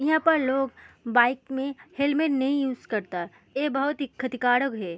यहाँ पर लोग बाइक में हेलमेट नहीं यूज़ करता। ए बहुत ही खतिकारक है।